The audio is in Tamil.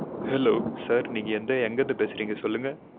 Hello sir நீங்க எந்த எங்கிருந்து பேசுறீங்க சொல்லுங்க